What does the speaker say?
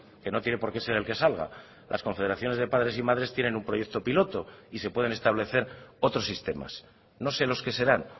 que no tiene porque ser el que salga las confederaciones de padres y madres tienen un proyecto piloto y se pueden establecer otros sistemas no sé los que serán